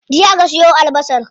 Jiya aka siyo albasar.